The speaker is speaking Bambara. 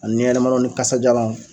Ani yɛlɛmalaw ni kasajalaw